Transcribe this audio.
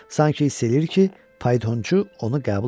Sanki hiss edir ki, faytonçu onu qəbul eləyib.